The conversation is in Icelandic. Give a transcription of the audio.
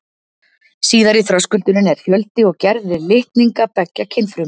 Síðari þröskuldurinn er fjöldi og gerð litninga beggja kynfruma.